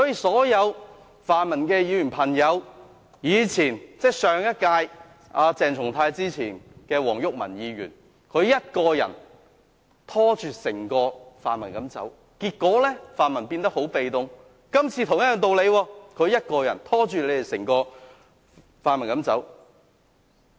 所有泛民的朋友，從前是上一屆的前議員黃毓民一個人拖着整個泛民走，結果泛民變得很被動，今次是同樣的道理，鄭松泰議員一個人拖着整個泛民走。